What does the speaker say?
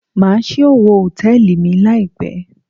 Má á ṣí owo Hòtẹ́lìì mi láì pé.